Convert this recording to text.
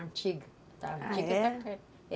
Antiga. Ah, é?